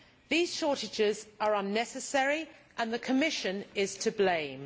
These shortages are unnecessary and the Commission is to blame.